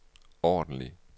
ordentlig